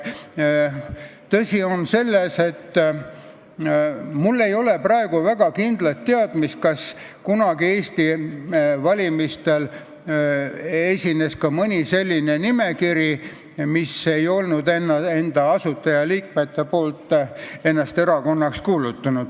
Tõsi, mul ei ole praegu väga kindlat teadmist, kas kunagi Eesti valimistel on olnud ka mõni selline nimekiri, mille puhul asutajaliikmed ei olnud ennast erakonnaks kuulutanud.